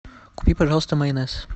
купи пожалуйста майонез